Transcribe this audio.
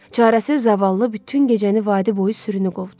Çarəsiz zavallı bütün gecəni vadi boyu sürünü qovdu.